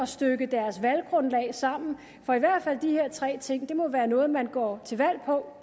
stykke deres valggrundlag sammen for i hvert fald de her tre ting må være noget man går til valg